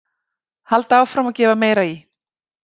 Halda áfram og gefa meira í.